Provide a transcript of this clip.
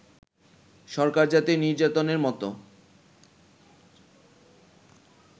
সরকার জাতীয় নির্বাচনের মতো